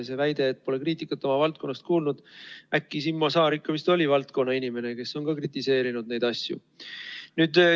See väide, et pole oma valdkonna seest kriitikat kuulnud – Simmo Saar vist ikka oli valdkonna inimene, tema on ka neid asju kritiseerinud.